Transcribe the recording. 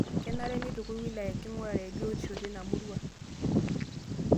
Kenare neitukuj wilaya enking'urare e biotisho teina murua